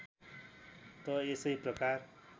त यसै प्रकार